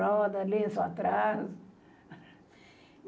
Roda, lenço atrás.